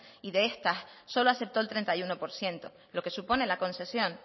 y de estas solo aceptó el treinta y uno por ciento lo que supone la concesión